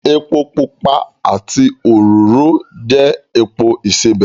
Epo pupa àti òróró jẹ́ epo ìsebẹ̀